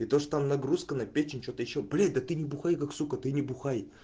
и то что там нагрузка на печень что-то ещё блин да ты не бухай как сука ты не бухай